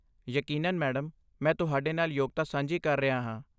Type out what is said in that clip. ਯਕੀਨਨ, ਮੈਡਮ! ਮੈਂ ਤੁਹਾਡੇ ਨਾਲ ਯੋਗਤਾ ਸਾਂਝੀ ਕਰ ਰਿਹਾ ਹਾਂ।